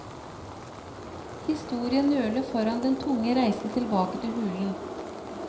Historien nøler foran den tunge reisen tilbake til hulen.